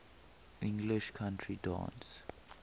english country dance